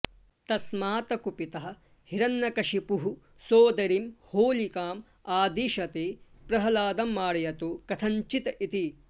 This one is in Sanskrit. तस्मात् कुपितः हिरण्यकशिपुः सोदरीं होलिकाम् आदिशति प्रह्लादं मारयतु कथञ्चित् इति